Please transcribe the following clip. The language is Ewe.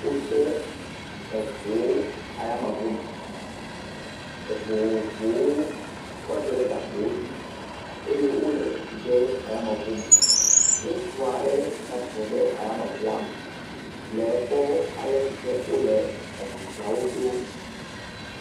wó de eʋuwo ayameʋu me eʋu vovovowo wókɔ da ɖe gakpowo dzi eye wóle tsutsu de ayameʋu me ŋutsua ɖe tatitle ɖe ayameʋua me le ékpɔ alesike wóle eʋu siawo ɖó